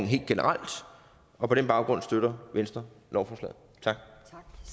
helt generelt og på den baggrund støtter venstre lovforslaget